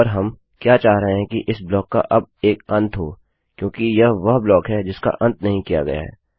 और हम क्या चाह रहे हैं कि इस ब्लॉक का अब एक अंत हो क्योंकि यह वह ब्लॉक है जिसका अंत नहीं किया गया है